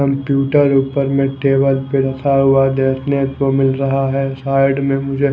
computer ऊपर में table पे रखा हुआ देखने को मिल रहा है साइड में मुझे--